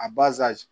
A